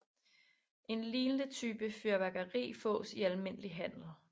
En lignende type fyrværkeri fås i almindelig handel